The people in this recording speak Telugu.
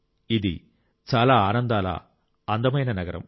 ఇది చాలా ఆనందాల అందమైన నగరం